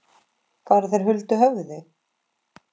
Fara þeir huldu höfði?